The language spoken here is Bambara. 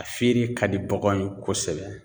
A feere ka di baganw ye kosɛbɛ.